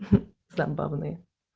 забавные